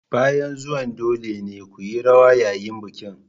Bayan zuwan dole ne ku yi rawa yayin bikin.